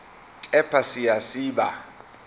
kepha siya siba